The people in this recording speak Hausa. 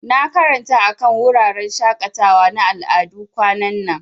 Na karanta akan wuraren shakatawa na al'adu kwanan nan.